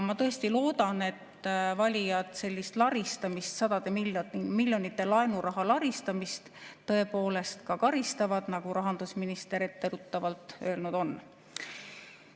Ma tõesti loodan, et valijad sellist laristamist, sadade miljonite eest laenuraha laristamist tõepoolest karistavad, nagu rahandusminister etteruttavalt öelnud on.